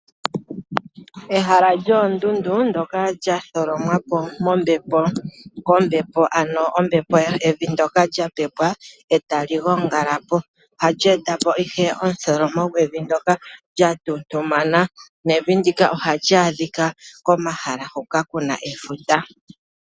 Ehala lyoondundu ndyoka lya tholomwa po kombepo, ano evi ndyoka lya pepwa e tali gongala po, ohali e ta po ihe omutholomo gwevi ndyoka lya tuntumana nevi ndika ohali adhika komahala hoka ku na efuta.